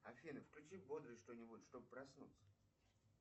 афина включи бодрое что нибудь чтоб проснуться